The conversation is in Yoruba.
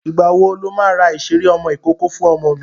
Ìgbàwo lo máa ra ìṣeré ọmọ ìkókó fún ọmọ mi?